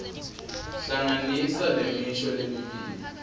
hlanganisa lemisho lemibili